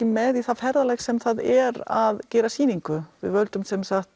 með í það ferðalag sem það er að gera sýningu við völdum